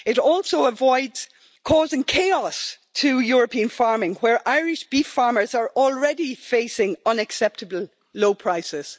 It also avoids causing chaos to European farming, where Irish beef farmers are already facing unacceptably low prices.